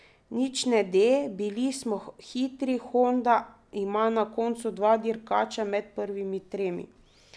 Nič ne de, bili smo hitri, Honda ima na koncu dva dirkača med prvimi tremi.